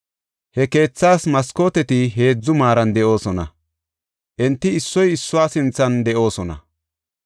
He keethaas maskooteti heedzu maaran de7oosona; enti issoy issuwa sinthan de7oosona.